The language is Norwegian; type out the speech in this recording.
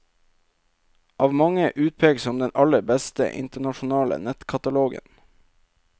Av mange utpekt som den aller beste internasjonale nettkatalogen.